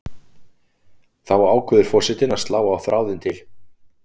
Þá ákveður forsetinn að slá á þráðinn til